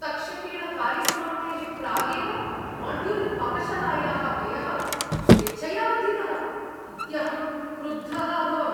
तक्षकेण कार्यसमाप्तेः प्रागेव माड्युलर्पाकशालायाः व्ययः स्वेच्छया वर्धितः इत्यहं क्रुद्धः अभवम्।